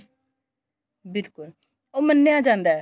ਬਿਲਕੁਲ ਉਹ ਮੰਨਿਆ ਜਾਂਦਾ